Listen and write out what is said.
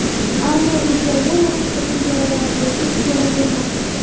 ammo regionlar orasidagi chegaralarni yopish kerak emas.